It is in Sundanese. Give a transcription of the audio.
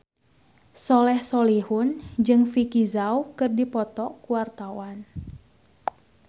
Soleh Solihun jeung Vicki Zao keur dipoto ku wartawan